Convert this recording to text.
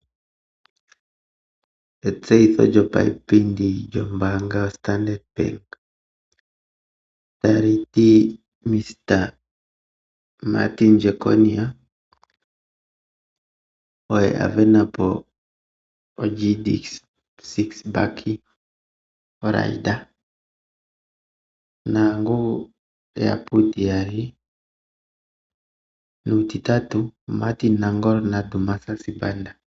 Etseyitho lyopaipindi lyoStandard Bank, ota li ti: Mr Martin Jeckonia oye a sindana GD-6 RB Raider, nokwa landulwa ku Martin NAngolo na Dumiza Sibanda.